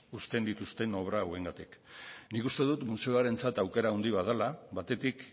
uzten dituzten obra hauengatik nik uste dut museoarentzat aukera haundi bat dala batetik